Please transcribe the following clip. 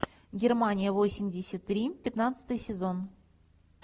германия восемьдесят три пятнадцатый сезон